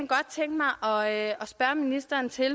og jeg at spørge ministeren til